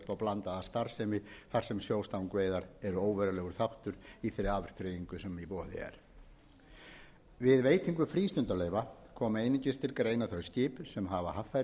blandaða starfsemi þar sem sjóstangaveiðar eru óverulegar þáttur í þeirri afþreyingu sem í boði er við veitingu frístundaleyfa koma einungis til greina þau skip sem hafa haffærisskírteini og skrásett eru á